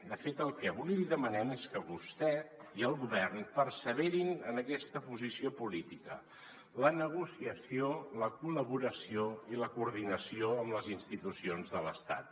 de fet el que avui li demanem és que vostè i el govern perseverin en aquesta po·sició política la negociació la col·laboració i la coordinació amb les institucions de l’estat